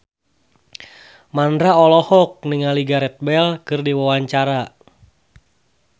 Mandra olohok ningali Gareth Bale keur diwawancara